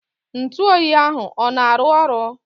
Ntụoyi ahụ ọ na-arụ ọrụ?